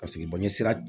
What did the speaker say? Paseke bɔɲɛ sira